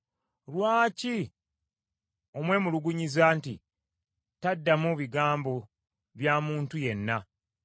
Lwaki omwemulugunyiza nti, taddamu bigambo bya muntu yenna?